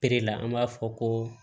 la an b'a fɔ ko